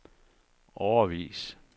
årevis